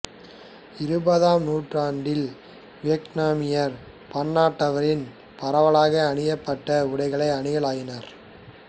இருபதாம் நூற்றாண்டில் வியட்நாமியர் பன்னாட்டளவில் பரவலாக அணியபட்ட உடைகளை அணியலாயினர்